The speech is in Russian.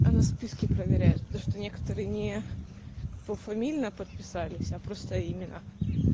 она списки проверяет то что некоторые не пофамильно подписались а просто именно